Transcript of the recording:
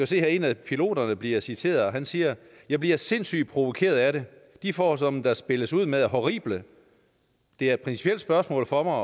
se her at en af piloterne bliver citeret og han siger jeg bliver sindssygt provokeret af det de forhold som der spilles ud med er horrible det er et principielt spørgsmål for mig